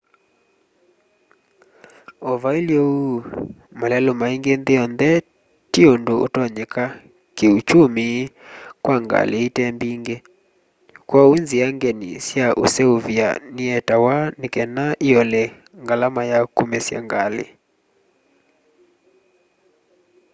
o vailye uu malelu maingi nthi yonthe ti undu utonyeka kii uchumi kwa ngali itembingi kwoou nzia ngeni sya useuvya nietawe nikana iole ngalama ya kumesya ngali